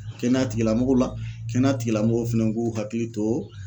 Kɛnɛya tigilamɔgɔw la, kɛnɛya tigilamɔgɔw fɛnɛ k'u hakili to